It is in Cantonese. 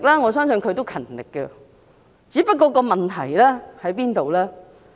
我相信她勤力工作，只是問題出在哪裏？